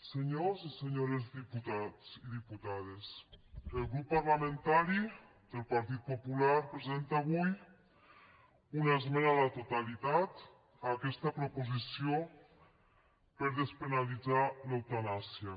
senyors i senyores diputats i diputades el grup parlamentari del partit popular presenta avui una esmena a la totalitat a aquesta proposició per despenalitzar l’eutanàsia